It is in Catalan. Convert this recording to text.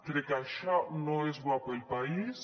crec que això no és bo per al país